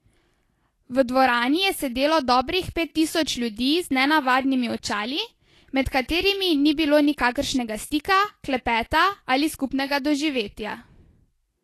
V dvorani je sedelo dobrih pet tisoč ljudi z nenavadnimi očali, med katerimi ni bilo nikakršnega stika, klepeta ali skupnega doživetja.